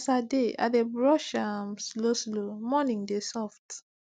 as i dey i dey brush um slowslow morning dey soft